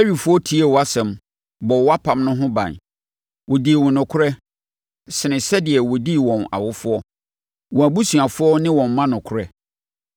Lewifoɔ tiee wʼasɛm bɔɔ wʼapam no ho ban. Wɔdii wo nokorɛ sene sɛdeɛ wɔdii wɔn awofoɔ, wɔn abusuafoɔ ne wɔn mma nokorɛ.